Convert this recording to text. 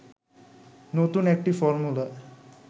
নতুন একটি ফর্মুলা